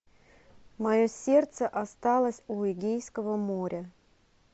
мое сердце осталось у эгейского моря